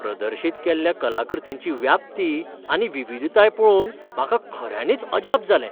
प्रदर्शीत केल्ल्या कलाकृतींची व्याप्ती आनी विविधताय पळोवन म्हाका खऱ्यांनीच अजाप जालें.